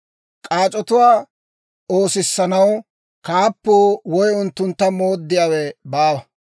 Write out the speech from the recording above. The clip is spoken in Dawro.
K'aac'otuwaa oosissanaw, kaappuu woy unttuntta mooddiyaawe baawa;